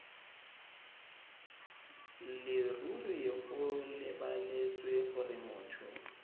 leruri go lebeletswe gore motho